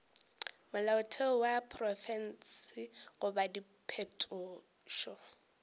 molaotheo wa profense goba diphetošo